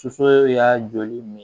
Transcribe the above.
Soso y'a joli min